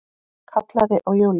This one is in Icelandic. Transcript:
Kallaði á Júlíu.